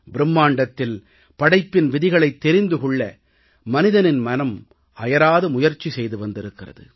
பிரும்மாண்டத்தில் படைப்பின் விதிகளைத் தெரிந்து கொள்ள மனிதனின் மனம் அயராது முயற்சி செய்து வந்திருக்கிறது